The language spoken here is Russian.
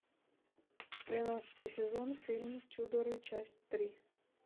тринадцатый сезон фильм тюдоры часть три